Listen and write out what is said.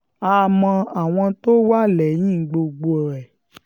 a mọ àwọn tó wà lẹ́yìn gbogbo ẹ̀